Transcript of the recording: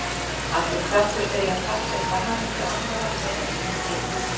Allur kraftur fer í að passa upp á hamingju annarra frekar en sína eigin.